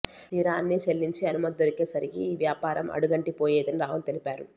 తీరా అన్నీ చెల్లించి అనుమతి దొరికే సరికి ఆ వ్యాపారం అడుగంటిపోయేదని రాహుల్ తెలిపారు